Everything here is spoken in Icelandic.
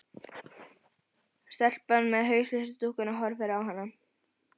Stelpan með hauslausu dúkkuna horfir á hana.